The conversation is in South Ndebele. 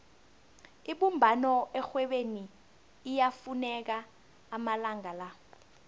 ibumbano erhwebeni liyafuneka amalanga la